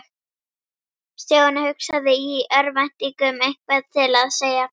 Stjáni hugsaði í örvæntingu um eitthvað til að segja.